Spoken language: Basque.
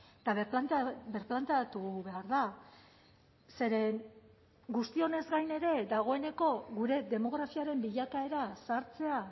eta birplanteatu behar da zeren guztionez gain ere dagoeneko gure demografiaren bilakaera zahartzea